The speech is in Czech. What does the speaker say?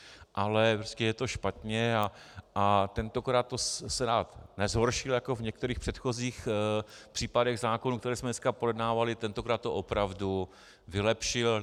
Ale je to špatně a tentokrát to Senát nezhoršil jako v některých předchozích případech zákonů, které jsme dneska projednávali, tentokrát to opravdu vylepšil.